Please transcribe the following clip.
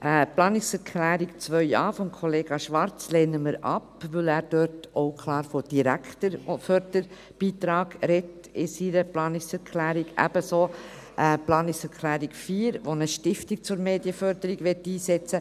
Die Planungserklärung 2.a von Kollega Schwarz lehnen wir ab, weil er in seiner Planungserklärung auch klar von einem direkten Förderbeitrag spricht, ebenso die Planungserklärung 4, die eine Stiftung zur Medienförderung einsetzen möchte.